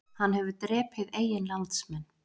Hann hefur drepið eigin landsmenn